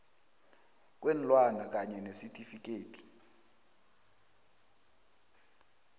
kweenlwana kanye nesitifikhethi